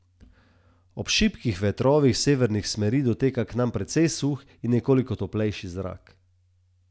Ob šibkih vetrovih severnih smeri doteka k nam precej suh in nekoliko toplejši zrak.